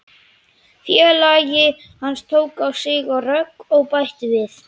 Félagi hans tók á sig rögg og bætti við